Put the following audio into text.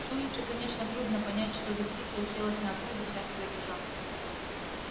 с улицы конечно трудно понять что за птица уселась на окно десятого этажа